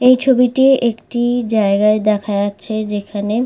এই ছবিটি একটি জায়গায় দেখা যাচ্ছে যেখানে--